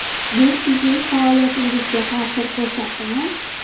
Bu sizning faoliyatingizga ta’sir ko‘rsatdimi?